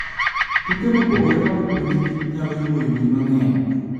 Tuke maopogore mag puonj kich nyalo yuoyo jii mange'ny